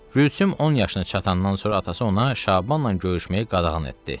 Gülsüm 10 yaşına çatandan sonra atası ona Şabanla görüşməyə qadağan etdi.